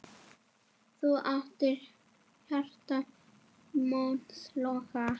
Þú áttir hjarta míns loga.